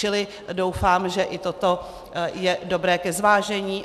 Čili doufám, že i toto je dobré ke zvážení.